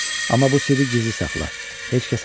Amma bu sirri gizli saxla, heç kəsə demə.